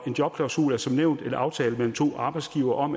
en jobklausul er som nævnt en aftale mellem to arbejdsgivere om